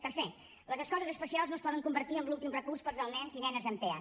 tercer les escoles especials no es poden convertir en l’últim recurs per als nens i nenes amb tea